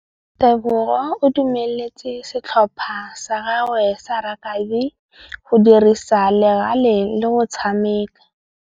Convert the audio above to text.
Tebogô o dumeletse setlhopha sa gagwe sa rakabi go dirisa le galê go tshameka.